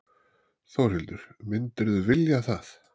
Þórhildur: Myndirðu vilja það?